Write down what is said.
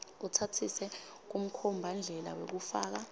utsatsise kumkhombandlela wekufaka